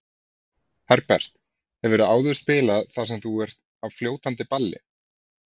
Herbert, hefurðu áður spilað þar sem þú ert á fljótandi balli?